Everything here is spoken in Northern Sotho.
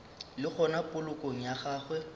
le gona polokong ya gagwe